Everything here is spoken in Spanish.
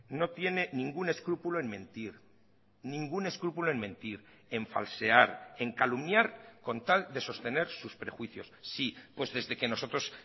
no tiene ningún escrúpulo en mentir ningún escrúpulo en mentir en falsear en calumniar con tal de sostener sus prejuicios sí pues desde que nosotros